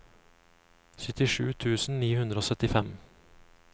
syttisju tusen ni hundre og syttifem